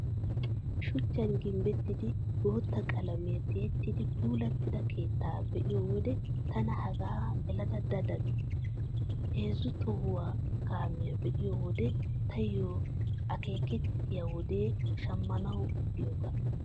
Shuchchan gimbbettidi bootta qalamiyaan tiyettidi puulattida keettaa be'iyo wode tana hegan gelada da da gees. Heezzu tohuwaawa kaamiyaa be'iyo wode taayyo akeekettiyay wode shammanawu diyoogaa.